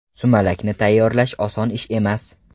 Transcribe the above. Sumalakni tayyorlash oson ish emas.